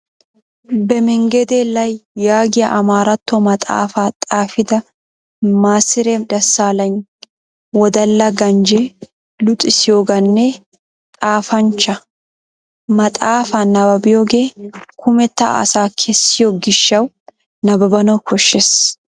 "Bemengedee lay" yaagiya Amaarato maxaafaa xaafida Maasire Dassaalany wodalla ganjje, luxissiyaagaane xaafanchcha. Maxaafaa nabbabiyogee kumetta asa keessiyo gishshawu nabbabanawu koshshees.